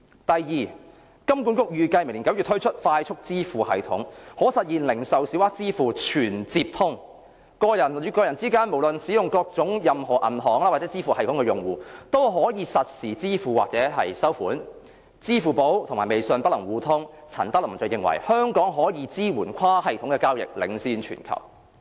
第二，金管局預計明年9月推出快速支付系統，可實現零售小額支付"全接通"，個人與個人之間無論各自使用甚麼銀行或支付系統的用戶，都可以實時付款或收款；支付寶及微信不能互通，陳德霖認為香港可以支援跨系統交易，領先全球。